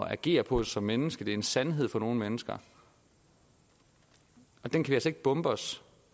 at agere på som menneske det er en sandhed for nogle mennesker og den kan bombe os